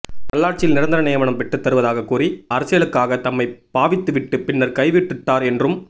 நல்லாட்சியில் நிரந்தர நியமனம் பெற்று தருவதாகக் கூறி அரசியலுக்காக தம்மை பாவித்துவிட்டு பின்னர் கைவிட்டுடார்கள் என்றும்